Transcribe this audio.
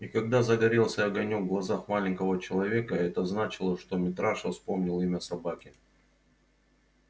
и когда загорелся огонёк в глазах маленького человека это значило что митраша вспомнил имя собаки